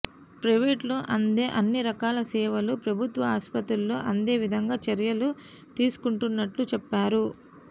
ప్రైవేటులో అందే అన్ని రకాల సేవలు ప్రభుత్వ ఆసుప్రతుల్లో అందే విధంగా చర్యలు తీసుకుంటున్నట్లు చెప్పారు